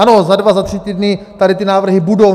Ano, za dva, za tři týdny tady ty návrhy budou.